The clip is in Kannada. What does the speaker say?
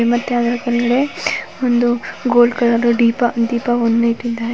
ಒಂದು ಗೋಲ್ಡ್ ಕಲರ್ ದು ದೀಪ. ದೀಪ